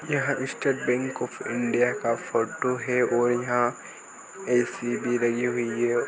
यहाँ state bank of India का photo है और यहाँ ए_सी भी लगी हुई है।